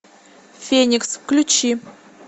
феникс включи